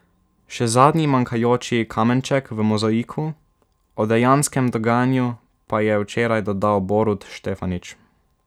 Še zadnji manjkajoči kamenček v mozaiku o dejanskem dogajanju pa je včeraj dodal Borut Štefanič.